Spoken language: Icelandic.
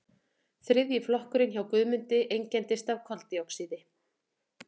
þriðji flokkurinn hjá guðmundi einkennist af koldíoxíði